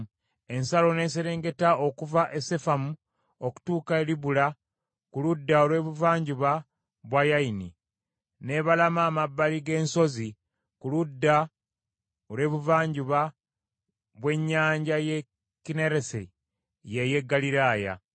Ensalo n’eserengeta okuva e Sefamu okutuuka e Libula ku ludda olw’ebuvanjuba bwa Yaini, n’ebalama amabbali g’ensozi ku ludda olw’ebuvanjuba bw’Ennyanja y’e Kinneresi, y’ey’e Ggaliraaya.